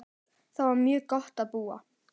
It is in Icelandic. Þar var mjög gott að búa.